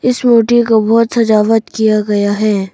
इस मूर्ति को बहुत सजावट किया गया है।